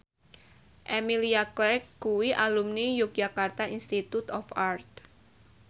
Emilia Clarke kuwi alumni Yogyakarta Institute of Art